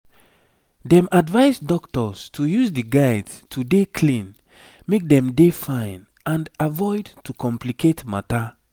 dem advise dokita's to use di guides to dey clean make dem dey fine and avoid to complicate matter